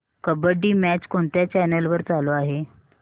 kabaddi match कोणत्या channel वर चालू आहे